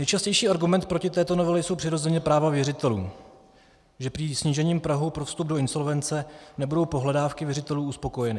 Nejčastější argument proti této novele jsou přirozeně práva věřitelů, že prý snížením prahu pro vstup do insolvence nebudou pohledávky věřitelů uspokojeny.